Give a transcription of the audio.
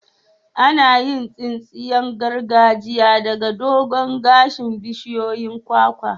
Ana yin tsinsiyan gargajiya daga dogon gashin bishiyoyin kwakwa.